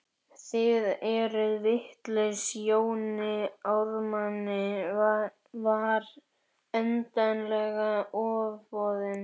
Þið eruð vitlaus, Jóni Ármanni var endanlega ofboðið.